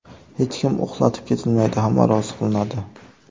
Hech kim ‘uxlatib’ ketilmaydi, hamma rozi qilinadi.